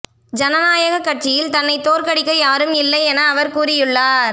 ஜனநாயக கட்சியில் தன்னை தோற்கடிக்க யாரும் இல்லை என அவர் கூறியுள்ளார்